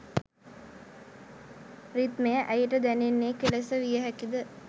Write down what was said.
රිද්මය ඇයට දැනෙන්නේ කෙලෙස විය හැකිද?